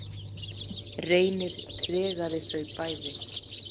Reynir tregaði þau bæði.